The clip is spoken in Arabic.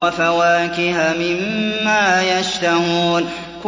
وَفَوَاكِهَ مِمَّا يَشْتَهُونَ